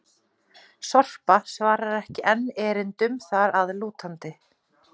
Sorpa svarar ekki enn erindum þar að lútandi!